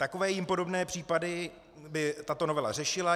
Takové jim podobné případy by tato novela řešila.